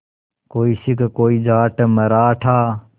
कोई सिख कोई जाट मराठा